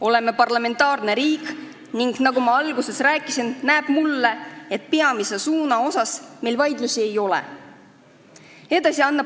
Oleme parlamentaarne riik ning nagu ma alguses rääkisin, näib mulle, et peamise suuna üle meil vaidlusi ei ole.